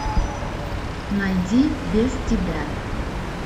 найди без тебя